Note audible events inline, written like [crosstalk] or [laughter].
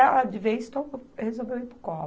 De vez, [unintelligible] resolveu ir para o copo.